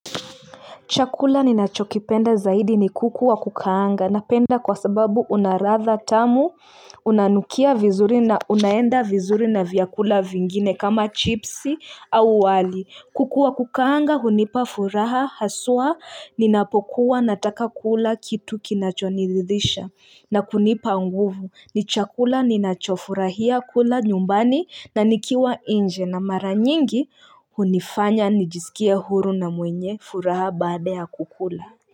Chakula ninachokipenda zaidi ni kuku wa kukaanga napenda kwa sababu una ladha tamu, unanukia vizuri na unaenda vizuri na vyakula vingine kama chipsi au wali. Kuku wa kukaanga, hunipa furaha, haswa, ninapokuwa nataka kula, kitu kinachoridhisha, na kunipa nguvu, nichakula ninachofurahia kula nyumbani, na nikiwa nje, na mara nyingi, hunifanya, nijisikie huru na mwenye furaha baada ya kukula.